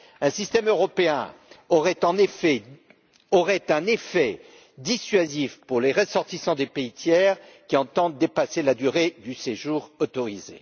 Un système européen aurait un effet dissuasif pour les ressortissants des pays tiers qui entendent dépasser la durée du séjour autorisé.